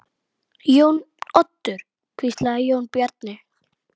Hans er nú sárt saknað.